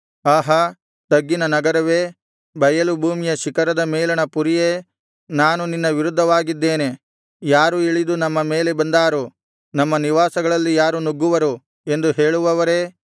ಆಹಾ ತಗ್ಗಿನ ನಗರವೇ ಬಯಲು ಭೂಮಿಯ ಶಿಖರದ ಮೇಲಣ ಪುರಿಯೇ ನಾನು ನಿನ್ನ ವಿರುದ್ಧವಾಗಿದ್ದೇನೆ ಯಾರು ಇಳಿದು ನಮ್ಮ ಮೇಲೆ ಬಂದಾರು ನಮ್ಮ ನಿವಾಸಗಳಲ್ಲಿ ಯಾರು ನುಗ್ಗುವರು ಎಂದು ಹೇಳುವವರೇ